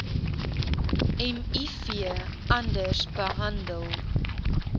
miv anders behandel